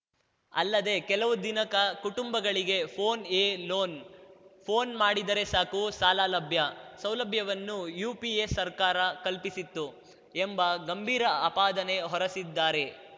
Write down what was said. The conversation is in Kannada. ಅಲ್ಲದೆ ಕೆಲವು ದಿನಿಕ ಕುಟುಂಬಗಳಿಗೆ ಫೋನ್‌ಎಲೋನ್‌ ಫೋನ್‌ ಮಾಡಿದರೆ ಸಾಕು ಸಾಲ ಲಭ್ಯ ಸೌಲಭ್ಯವನ್ನೂ ಯುಪಿಎ ಸರ್ಕಾರ ಕಲ್ಪಿಸಿತ್ತು ಎಂಬ ಗಂಭೀರ ಆಪಾದನೆ ಹೊರಿಸಿದ್ದಾರೆ